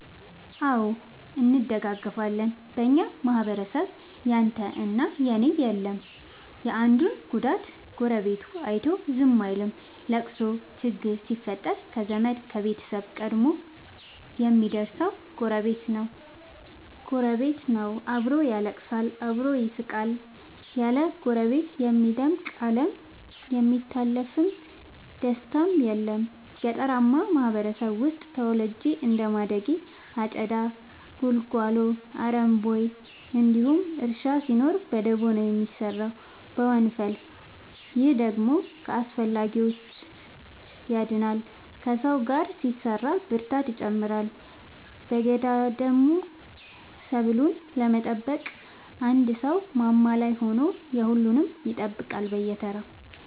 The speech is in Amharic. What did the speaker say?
አዎ እንደጋገፋለን በኛ ማህበረሰብ ያንተ እና የኔ የለም የአንዱን ጉዳት ጎረቤቱ አይቶ ዝም አይልም። ለቅሶ ችግር ሲፈጠር ከዘመድ ከቤተሰብ ቀድሞ የሚደር ሰው ጎረቤት ነው። አብሮ ያለቅሳል አብሮ ይስቃል ያለ ጎረቤት የሚደምቅ አለም የሚታለፍ ደስታም የለም። ገጠርአማ ማህበረሰብ ውስጥ ተወልጄ እንደማደጌ አጨዳ ጉልጎሎ አረም ቦይ እንዲሁም እርሻ ሲኖር በደቦ ነው የሚሰራው በወንፈል። ይህ ደግሞ ከአላስፈላጊዎቺ ያድናል ከሰው ጋር ሲሰራ ብርታትን ይጨምራል። በገዳደሞ ሰብሉን ለመጠበቅ አንድ ሰው ማማ ላይ ሆኖ የሁሉም ይጠብቃል በየተራ።